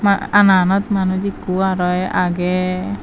a ana anot manuj ekko araw agey.